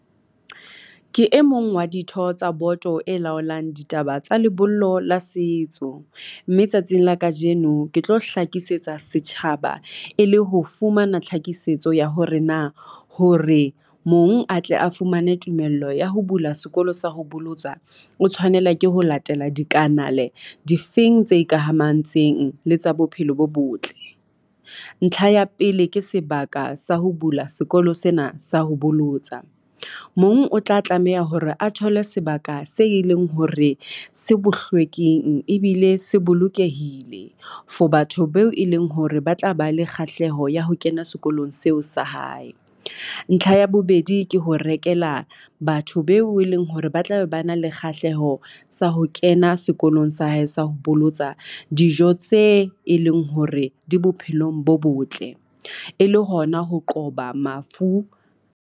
Ke e mong wa ditho tsa boto e laolang ditaba tsa lebollo la setso, mme tsatsing la kajeno ke tlo hlakisetsa setjhaba e le ho fumana tlhakisetso ya hore na hore mong a tle a fumane tumello ya ho bula sekolosa ho bolotswa. O tshwanela ke ho latela dikanale difeng tse ikamahantseng le tsa bophelo bo botle. Ntlha ya pele ke sebaka sa ho bula sekolo sena sa ho bolotsa. Mong o tla tlameha hore a thole sebaka se e leng hore se bohlweking ebile se bolokehile. For batho beo e leng hore ba tla ba le kgahleho ya ho kena sekolong seo sa hae. Ntlha ya bobedi ke ho rekela batho beo e leng hore ba tla be ba na le kgahleho sa ho kena sekolong sa hae sa ho bolotsa, dijo tse e leng hore di bophelong bo botle e le hona ho qoba mafu.